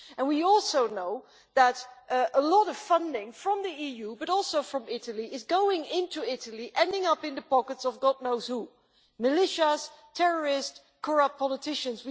We also know that a lot of funding from the EU, but also from Italy, is going into Libya and ending up in the pockets of God knows who militia, terrorists, corrupt politicians.